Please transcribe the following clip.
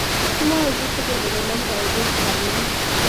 Kimwae kitigin ole namdoi piik Fuhrmann